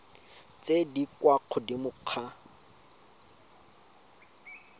tse di kwa godimo ga